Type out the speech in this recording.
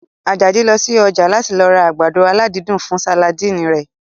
Àjàdí lọ sí ọjà láti lọ ra àgbàdo aládídùn fún sàládì rẹ̀